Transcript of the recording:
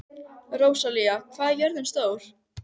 Rósalía, hvað er jörðin stór?